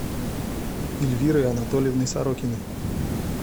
эльвирой анатольевной сорокиной